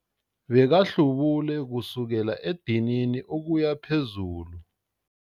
Bekahlubule kusukela edinini ukuya phezulu.